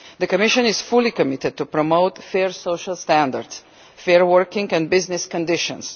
The Commission is fully committed to promoting fair social standards and fair working and business conditions.